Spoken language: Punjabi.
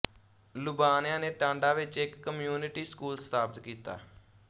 ਲੁਬਾਣਿਆਂ ਨੇ ਟਾਂਡਾ ਵਿੱਚ ਇੱਕ ਕਮਿਊਨਿਟੀ ਸਕੂਲ ਸਥਾਪਤ ਕੀਤਾ